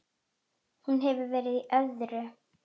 Hún hefur verið í öðru.